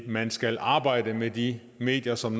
man skal arbejde med de medier som